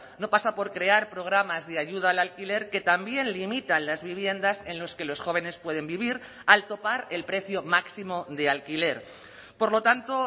no pasa por crear programas de ayuda al alquiler que también limitan las viviendas en los que los jóvenes pueden vivir al topar el precio máximo de alquiler por lo tanto